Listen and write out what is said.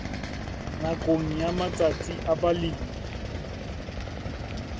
nakong ya matsatsi a balemi